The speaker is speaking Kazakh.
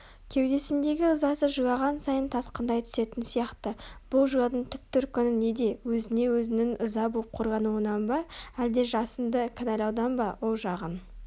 кеудесіндегі ызасы жылаған сайын тасқындай түсетін сияқты бұл жылаудың түп төркіні неде өзіне-өзінің ыза боп қорлануынан ба әлде жасынды кінәлаудан ба ол жағын